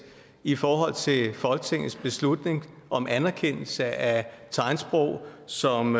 i forhold til folketingets beslutning om anerkendelse af tegnsprog som